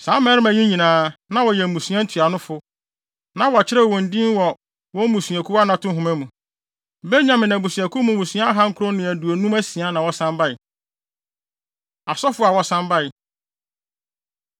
Saa mmarima yi nyinaa, na wɔyɛ mmusua ntuanofo, na wɔakyerɛw wɔn din wɔ wɔn mmusuakuw anato nhoma mu. Benyamin abusuakuw mu mmusua ahankron ne aduonum asia na wɔsan bae. Asɔfo A Wɔsan Bae